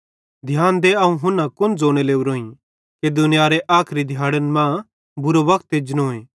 ध्यान दे अवं हुन्ना कुन ज़ोने लोरोईं कि दुनियारे आखरी दिहाड़न मां बुरो वक्त एजनोए